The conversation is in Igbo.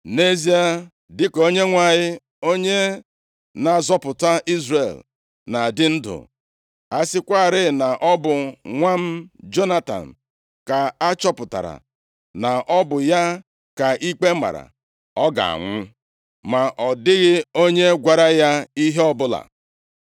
Nʼezie dịka Onyenwe anyị, onye na-azọpụta Izrel na-adị ndụ, a sịkwarị na ọ bụ nwa m Jonatan ka a chọpụtara na ọ bụ ya ka ikpe mara, ọ ga-anwụ!” Ma ọ dịghị onye gwara ya ihe ọbụla.